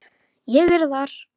Ég er þar.